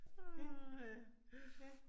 Åh ha, ja